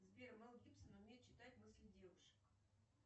сбер мэл гибсон умеет читать мысли девушек